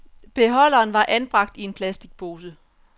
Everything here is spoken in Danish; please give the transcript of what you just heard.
Beholderen var anbragt i en plastikpose.